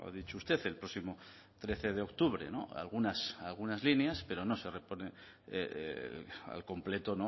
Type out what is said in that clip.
dicho usted el próximo trece de octubre algunas líneas pero no se repone al completo